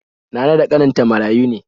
Nana da ƙaninta marayu ne.